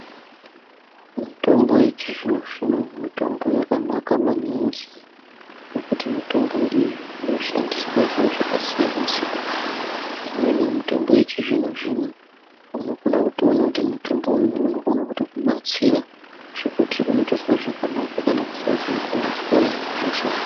Mitombo yechizvino zvino mitombo yakanaka maningi nekuti mitombo iyi inoshandiswe zviro zvakasiyana siyana. lmweni yemitombo yechizvino zvino unokona kutoona kuti mutombo uyu unokona kutokubatsira zvekuti unokona kuzwa zvakanaka kana kusazombozwahe hosha.